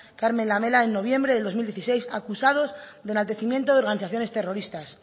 carmen lamela en noviembre del dos mil dieciséis acusados de enaltecimiento de organizaciones terroristas